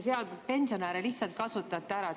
Pensionäre te lihtsalt kasutate ära.